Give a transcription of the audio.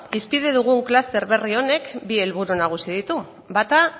hizpide dugun kluster berri honek bi helburu nagusi ditu bata